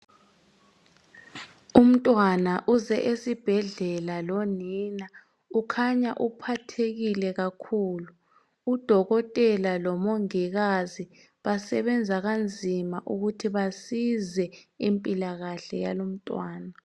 Umntwana uze esibhedlela lonina. Ukhanya uphathekile kakhulu! Udokotela lomongikazi basebenza kanzima ukuthi basize impilakahle yalo umntwana.